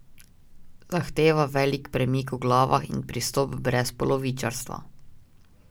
Zahteva velik premik v glavah in pristop brez polovičarstva.